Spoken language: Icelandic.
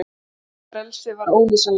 Frelsið var ólýsanlegt.